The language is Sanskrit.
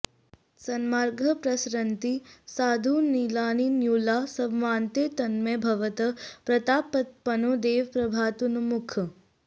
सन्मार्गाः प्रसरन्ति साधुनलिनान्युल्लासमातन्वते तन्मन्ये भवतः प्रतापतपनो देव प्रभातोन्मुखः